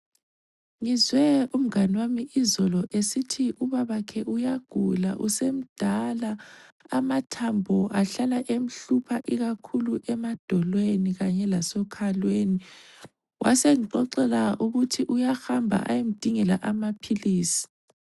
Ngizwe umngani wami izolo esithi ubabakhe uyagula usemdala amathambo ahlala emhlupha ikakhulu emadolweni lasekhalweni. Wasengixoxela ukuthi uyahamba ayomdingela amaphilisi.